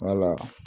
Wala